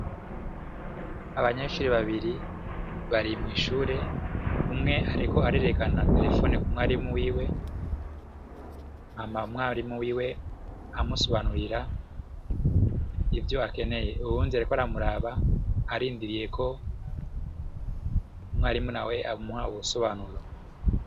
Abanyenshuri babiri bari mw'ishure umwe ariko arerekana telefone ku mwarimu wiwe hama umwarimu wiwe amusobanurira ivyo akeneye uwundi ariko aramuraba arindiriyeko umwarimu nawe ko amuha ubusobanuro.